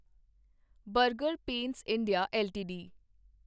burger paints India LTD